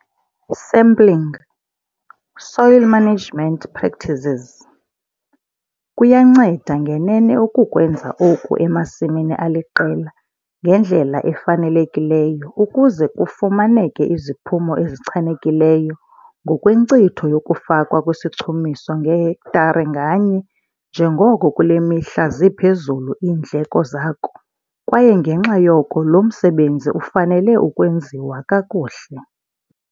Sampling, Soil management practices. Kuyanceda ngenene ukukwenza oku emasimini aliqela ngendlela efanelekileyo ukuze kufumaneke iziphumo ezichanekileyo ngokwenkcitho yokufakwa kwesichumiso ngehektare nganye njengoko kule mihla ziphezulu iindleko zako kwaye ngenxa yoko lo msebenzi ufanele ukwenziwa kakuhle.